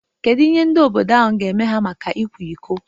Kedu ihe ndị obodo ahụ ga-eme ya maka ịkwa iko?